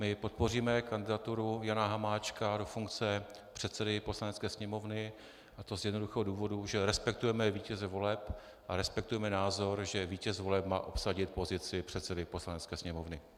My podpoříme kandidaturu Jana Hamáčka do funkce předsedy Poslanecké sněmovny, a to z jednoduchého důvodu, že respektujeme vítěze voleb a respektujeme názor, že vítěz voleb má obsadit pozici předsedy Poslanecké sněmovny.